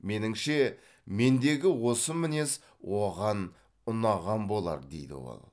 меніңше мендегі осы мінез оған ұнаған болар дейді ол